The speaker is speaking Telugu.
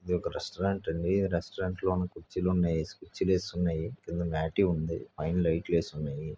ఇదొక రెస్టారెంట్ అంది ఈ రెస్టారెంట్ లో కుర్చిలున్నాయి కుర్చీలు వేసి ఉన్నాయి. కింద మాట్ ఉంది పైన లైట్లు వేసి ఉన్నాయి.